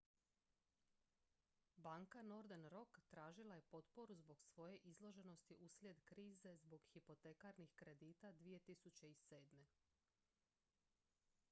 banka northern rock tražila je potporu zbog svoje izloženosti uslijed krize zbog hipotekarnih kredita 2007